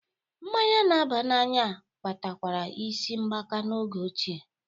Mmanya n'aba n'anya kpatakwara isi mgbaka n'oge ochie